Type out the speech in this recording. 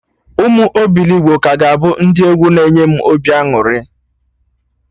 Ụmụ obilogbo ka ga-abụ ndị egwu na enye m obi aṅụrị